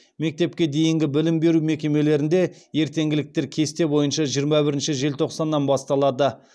мектепке дейінгі білім беру мекемелерінде ертеңгіліктер кесте бойынша жиырма бірінші желтоқсаннан басталады